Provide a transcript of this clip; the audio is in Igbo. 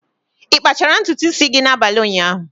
Ị kpachara ntutu isi gị n'abalị ụnyaahụ?